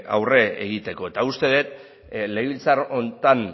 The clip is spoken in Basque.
aurre egiteko eta uste dut legebiltzar honetan